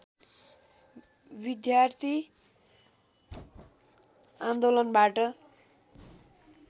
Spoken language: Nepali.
विद्यार्थी आन्दोलनबाट